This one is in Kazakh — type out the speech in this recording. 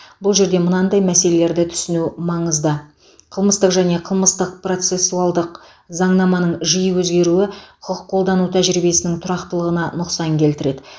бұл жерде мынадай мәселелерді түсіну маңызды қылмыстық және қылмыстық процессуалдық заңнаманың жиі өзгеруі құқық қолдану тәжірибесінің тұрақтылығына нұқсан келтіреді